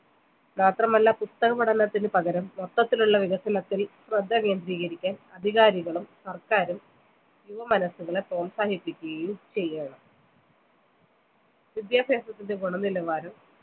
മാത്രമല്ല പുസ്തകപഠനത്തിനു പകരം മൊത്തത്തിലുള്ള വികസനത്തിൽ ശ്രദ്ധ കേന്ദ്രികരിക്കാൻ അധികാരികളും സർക്കാരും യുവമനസുകളെ പ്രോത്സാഹിപ്പിക്കുകയും ചെയ്യണം വിദ്യാഭ്യാസത്തിൻ്റെ ഗുണനിലവാരം